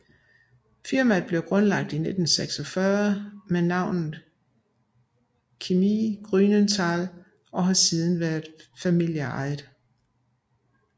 Firmaet blev grundlagt i 1946 med navnet Chemie Grünenthal og har siden været familieejet